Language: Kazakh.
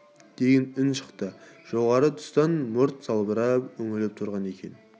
деген үн шықты жоғары тұстан мұрты салбырап үңіліп тұрған екен